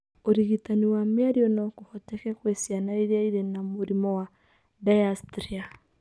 ũrigitani wa mĩario no kũhoteke kwe ciana iria irĩ na mũrimũ wa dysarthria